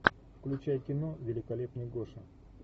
включай кино великолепный гоша